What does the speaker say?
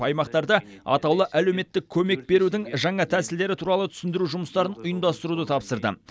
аймақтарда атаулы әлеуметтік көмек берудің жаңа тәсілдері туралы түсіндіру жұмыстарын ұйымдастыруды тапсырдым